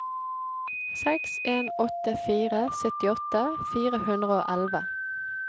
seks en åtte fire syttiåtte fire hundre og elleve